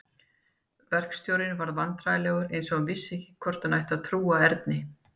Verkstjórinn varð vandræðalegur eins og hann vissi ekki hvort hann ætti að trúa Erni.